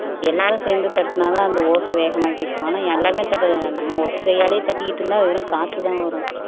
எல்லாரும் சேர்ந்து தட்டினாதான் அந்த ஓசை வேகமா கேக்கும் ஆனா எல்லாமே தட்டனும் நம்ம ஒத்தை கையால தட்டிகிட்டே இருந்தா வெறும் காத்துதான் வரும்